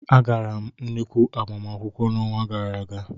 Agara m nnukwu agbamakwụkwọ n'ọnwa gara aga.